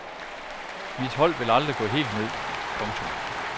Mit hold vil aldrig gå helt ned. punktum